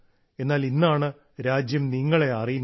എന്നാൽ ഇന്നാണ് രാജ്യം നിങ്ങളെ അറിയുന്നത്